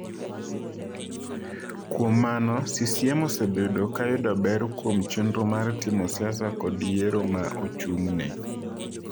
Kuom mano, CCM osebedo ka yudo ber kuom chenro mar timo siasa kod yiero ma ochung’ne.